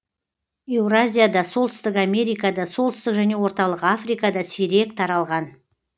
еуразияда солтүстік америкада солтүстік және орталық африкада сирек таралған